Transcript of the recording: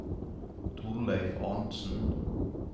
Torleif Arntzen